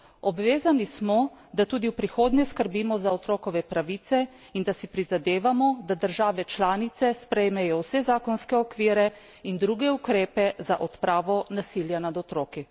Obvezani smo, da tudi v prihodnje skrbimo za otrokove pravice in da si prizadevamo, da države članice sprejmejo vse zakonske okvire in druge ukrepe za odpravo nasilja nad otroki.